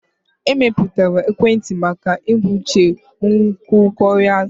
Emepụtara ekwentị maka ebumnuche nkwukọrịta.